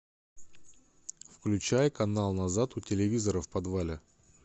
включай канал назад у телевизора в подвале